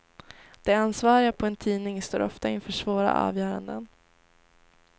De ansvariga på en tidning står ofta inför svåra avgöranden.